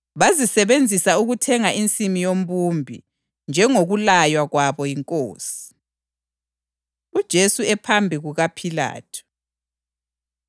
bazisebenzisa ukuthenga insimu yombumbi, njengokulaywa kwami yiNkosi.” + 27.10 UZakhariya 11.12-13; UJeremiya 19.1-13; 32.6-9 UJesu Ephambi KukaPhilathu